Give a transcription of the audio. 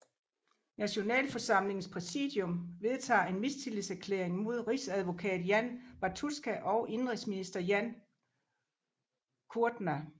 Nationalforsamlingens præsidium vedtager en mistillidserklæring mod rigsadvokat Jan Bartuska og indenrigsminister Jan Kudrna